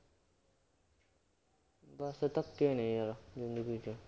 ਬਸ ਧੱਕੇ ਨੇ ਯਾਰ ਜ਼ਿੰਦਗੀ ਚ